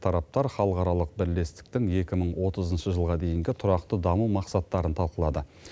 тараптар халықаралық бірлестіктің екі мың отызыншы жылға дейінгі тұрақты даму мақсаттарын талқылады